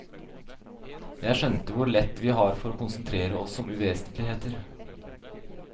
Jeg skjønte hvor lett vi har for å konsentrere oss om uvesentligheter.